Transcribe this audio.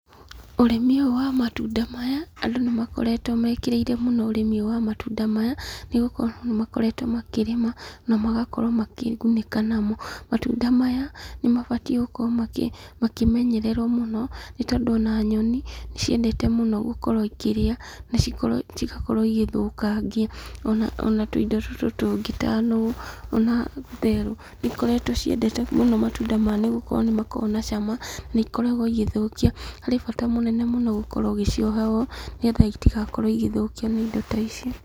Ũrĩmi ũyũ wa matunda maya, andũ nĩ makoretwo mekĩrĩĩre mũno ũrĩmi ũyũ wa matunda maya, nĩgũkorwo nĩ makoretwo makĩrĩma, na magakorwo makĩgunĩka namo. Matunda maya, nĩ mabatiĩ gukorwo makĩmenyererwo mũno, nĩ tondũ ona nyoni, nĩ ciendete mũno gũkorwo ikĩrĩa, na cigakorwo igĩthũkangia. Ona tũindo tũtũ tũngĩ ta nũgũ ona therũ, nĩ ĩkoretwo ciendete mũno matunda maya nĩgũkorwo nĩ makoragwo na cama, nĩ ikoragwo igĩthũkia. Harĩ bata mũnene mũno gũkorwo ũgĩcioha ũũ, nĩgetha itigakorwo igĩthũkio nĩ ĩndo ta ici.